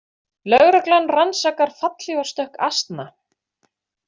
Lögreglan rannsakar fallhlífarstökk asna